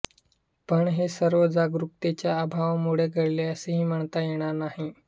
पण हे सर्व जागरूकतेच्या अभावामुळे घडले असेही म्हणता येणार नाही